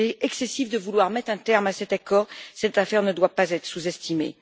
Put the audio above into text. S'il est excessif de vouloir mettre un terme à cet accord, cette affaire ne doit pas être sous-estimée.